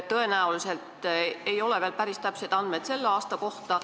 Tõenäoliselt ei ole veel päris täpseid andmeid selle aasta kohta.